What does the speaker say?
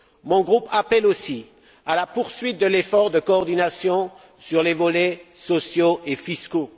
Mon groupe appelle aussi à la poursuite de l'effort de coordination sur les volets sociaux et fiscaux.